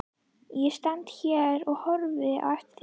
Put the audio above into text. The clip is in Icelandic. Ég stend hérna og horfi á eftir þér.